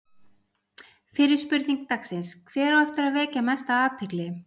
Fyrri spurning dagsins: Hver á eftir að vekja mesta athygli?